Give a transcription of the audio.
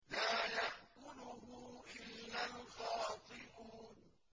لَّا يَأْكُلُهُ إِلَّا الْخَاطِئُونَ